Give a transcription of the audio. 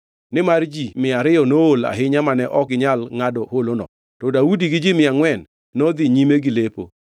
nimar ji mia ariyo nool ahinya mane ok ginyal ngʼado holono. To Daudi gi ji mia angʼwen nodhi nyime gi lepo.